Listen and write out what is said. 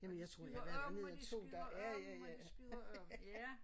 Og de skyder om og de skyder om og de skyder om ja